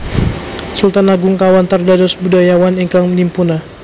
Sultan Agung kawentar dados budayawan Ingkang nimpuna